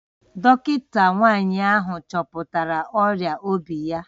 Dọkịta nwanyị ahụ chọpụtara ọrịa obi ya